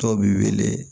Dɔw bi wele